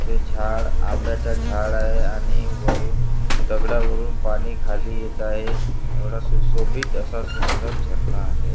हे झाड आंब्याचा झाड आहे आणि वरून दगडावरून पाणी खाली येत आहे एवढा सुशोभित असा सुंदर झरना आहे.